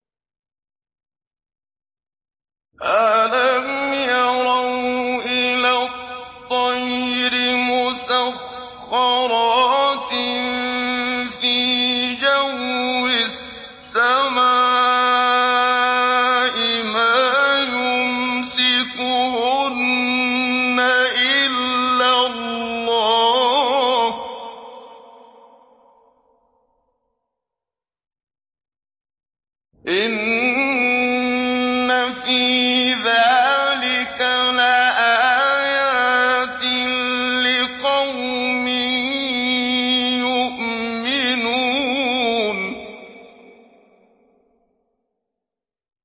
أَلَمْ يَرَوْا إِلَى الطَّيْرِ مُسَخَّرَاتٍ فِي جَوِّ السَّمَاءِ مَا يُمْسِكُهُنَّ إِلَّا اللَّهُ ۗ إِنَّ فِي ذَٰلِكَ لَآيَاتٍ لِّقَوْمٍ يُؤْمِنُونَ